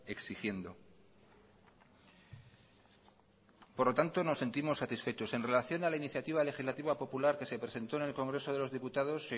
exigiendo por lo tanto nos sentimos satisfechos en relación a la iniciativa legislativa popular que se presentó en el congreso de los diputados